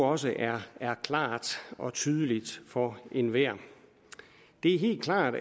også er er klart og tydeligt for enhver det er helt klart